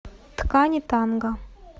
ткани танго